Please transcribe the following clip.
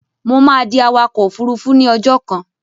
Mo máa di awakọ̀ òfurufú ní ọjọ́ kan.